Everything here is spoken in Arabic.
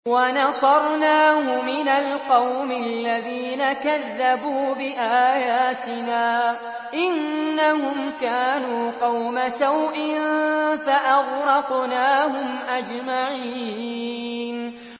وَنَصَرْنَاهُ مِنَ الْقَوْمِ الَّذِينَ كَذَّبُوا بِآيَاتِنَا ۚ إِنَّهُمْ كَانُوا قَوْمَ سَوْءٍ فَأَغْرَقْنَاهُمْ أَجْمَعِينَ